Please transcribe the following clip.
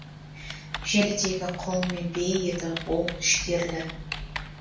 желідегі құлын мен бие еді ол шідерлі